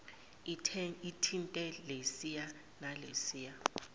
uthinte lesiya nalesiya